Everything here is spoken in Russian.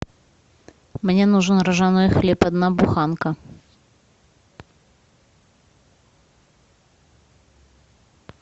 мне нужен ржаной хлеб одна буханка